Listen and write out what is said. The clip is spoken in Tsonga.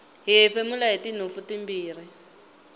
hi hefemula hitinhompfu timbirhi